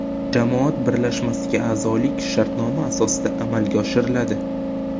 Jamoat birlashmasiga a’zolik shartnoma asosida amalga oshiriladi.